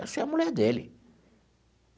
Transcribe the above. Essa é a mulher dele.